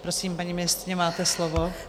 Prosím, paní ministryně, máte slovo.